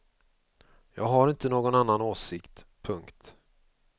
Jag har inte någon annan åsikt. punkt